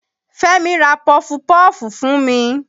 Fẹ́mi ra pọfupọ́ọ̀fù fún mi.